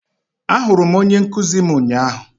ahụrụ m onye nkuzi m ụnyahụ